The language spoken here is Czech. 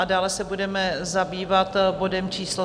A dále se budeme zabývat bodem číslo